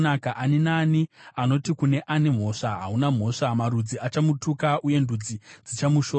Ani naani anoti kune ane mhosva, “Hauna mhosva,” marudzi achamutuka uye ndudzi dzichamushora.